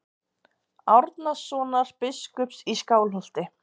Árnasonar biskups í Skálholti.